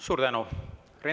Suur tänu!